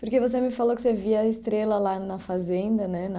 Porque você me falou que você via a estrela lá na fazenda, né? Na